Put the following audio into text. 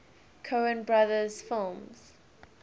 coen brothers films